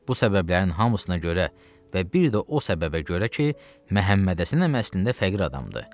Bu səbəblərin hamısına görə və bir də o səbəbə görə ki, Məhəmməd Həsən əmi əslində fəqir adamdır.